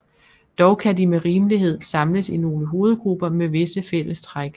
Dog kan de med rimelighed samles i nogle hovedgrupper med visse fælles træk